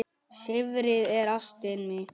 Silfrið er ástin mín.